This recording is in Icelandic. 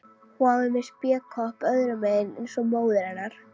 Hún var með spékopp öðrum megin eins og móðir hennar.